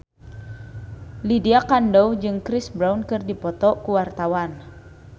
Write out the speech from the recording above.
Lydia Kandou jeung Chris Brown keur dipoto ku wartawan